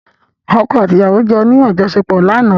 Ọ̀kọ́ àti ìyàwó jọ ní àjọṣèpọ̀ lánàá.